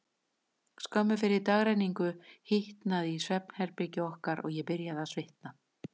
Skömmu fyrir dagrenningu hitnaði í svefnherbergi okkar, og ég byrjaði að svitna.